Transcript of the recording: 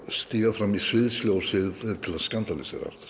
stíga fram í sviðsljósið til að